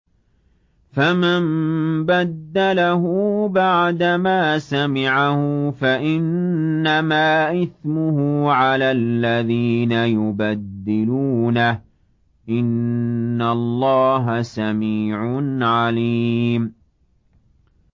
فَمَن بَدَّلَهُ بَعْدَمَا سَمِعَهُ فَإِنَّمَا إِثْمُهُ عَلَى الَّذِينَ يُبَدِّلُونَهُ ۚ إِنَّ اللَّهَ سَمِيعٌ عَلِيمٌ